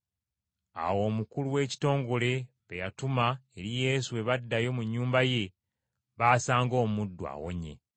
Awo omukulu w’ekitongole be yatuma eri Yesu bwe baddayo mu nnyumba ye, baasanga omuddu awonye.